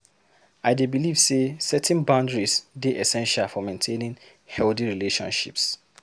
I dey believe say setting boundaries dey essential for maintaining healthy relationships.